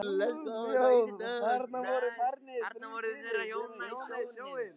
Þarna voru farnir þrír synir þeirra hjóna í sjóinn.